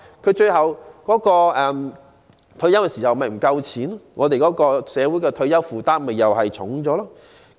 到他們退休時豈非不夠錢用，而社會的退休負擔豈非又沉重了？